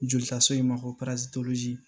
Jolitaso in ma ko